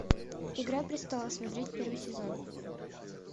игра престолов смотреть первый сезон